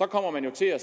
kommer man jo til at